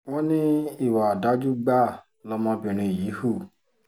wọ́n ní ìwà ọ̀dájú gbáà lọmọbìnrin yìí hù